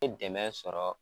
I bɛ dɛmɛn sɔrɔ